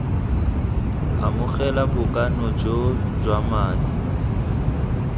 amogela bokana joo jwa madi